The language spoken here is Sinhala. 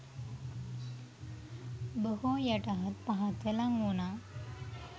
බොහෝ යටහත් පහත්ව ලං වුණා.